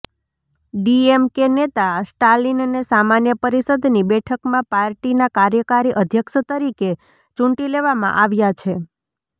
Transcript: ડીએમકે નેતા સ્ટાલિનને સામાન્ય પરિષદની બેઠકમાં પાર્ટીના કાર્યકારી અધ્યક્ષ તરીકે ચૂંટી લેવામાં આવ્યાં છે